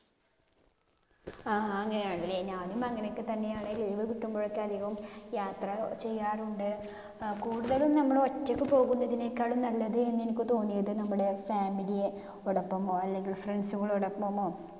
ആഹ് അങ്ങിനെയാണല്ലേ. ഞാനും അങ്ങിനെയൊക്കെ തന്നെയാണ്. Leave കിട്ടുമ്പോഴൊക്കെ അധികം യാത്ര ചെയ്യാറുണ്ട്. അഹ് കൂടുതലും നമ്മള് ഒറ്റക്ക് പോകുന്നതിനേക്കാളും നല്ലത് എന്ന് എനിക്ക് തോന്നിയത് നമ്മടെ family യുടെകൂടെപോവ അല്ലെങ്കിൽ friends സുകളോടൊപ്പമോ